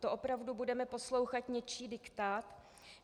To opravdu budeme poslouchat něčí diktát?